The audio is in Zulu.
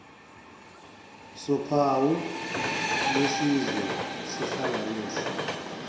sophawu lwesizwe sihlanganisa